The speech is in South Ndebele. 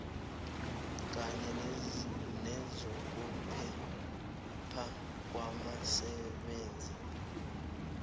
kanye nezokuphepha kwabasebenzi